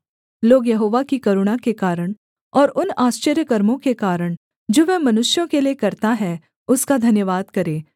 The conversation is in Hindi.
लोग यहोवा की करुणा के कारण और उन आश्चर्यकर्मों के कारण जो वह मनुष्यों के लिये करता है उसका धन्यवाद करें